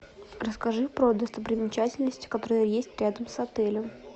расскажи про достопримечательности которые есть рядом с отелем